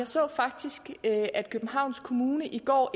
så faktisk at københavns kommune i går